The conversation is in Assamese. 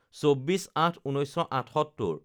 ২৪/০৮/১৯৭৮